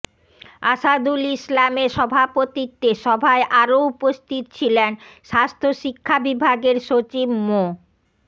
আসাদুল ইসলামের সভাপতিত্বে সভায় আরও উপস্থিত ছিলেন স্বাস্থ্য শিক্ষা বিভাগের সচিব মো